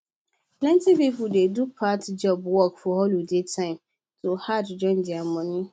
plenty people dey do part time work for holiday time to add join their money